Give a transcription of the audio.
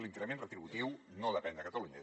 l’increment retributiu no depèn de catalunya